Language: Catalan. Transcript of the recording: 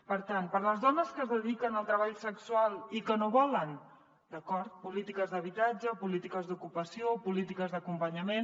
per tant per a les dones que es dediquen al treball sexual i que no volen d’acord polítiques d’habitatge o polítiques d’ocupació o polítiques d’acompanyament